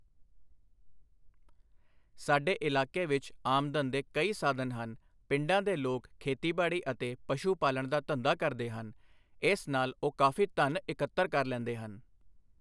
ਸਾਡੇ ਇਲਾਕੇ ਵਿੱਚ ਆਮਦਨ ਦੇ ਕਈ ਸਾਧਨ ਹਨ ਪਿੰਡਾਂ ਦੇ ਲੋਕ ਖੇਤੀਬਾੜੀ ਅਤੇ ਪਸ਼ੂ ਪਾਲਣ ਦਾ ਧੰਦਾ ਕਰਦੇ ਹਨ ਇਸ ਨਾਲ਼ ਉਹ ਕਾਫ਼ੀ ਧੰਨ ਇਕੱਤਰ ਲੈਂਦੇ ਹਨ।